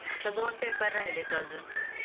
आता दोन पेपर राहिलेत अजून.